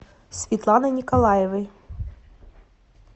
светланой николаевой